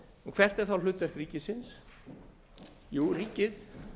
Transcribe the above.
hvert er þá hlutverk ríkisins jú ríkið